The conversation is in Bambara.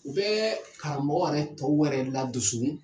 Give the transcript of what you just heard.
U bɛ karamɔgɔ yɛrɛ tɔw wɛrɛ ladusu.